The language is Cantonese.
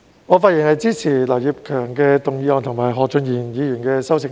我發言支持劉業強議員的議案和何俊賢議員的修正案。